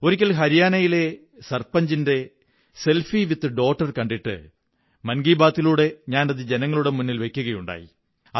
ഒരിക്കൽ ഹരിയാനയിലെ സര്പനഞ്ചിന്റെ സെല്ഫിട വിത് ഡോട്ടർ കണ്ടിട്ട് മൻ കീ ബാത്തി ലൂടെ ഞാനതു ജനങ്ങളുടെ മുന്നിൽ വയ്ക്കുകയുണ്ടായി